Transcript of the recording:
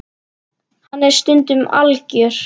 Hann er stundum algjör.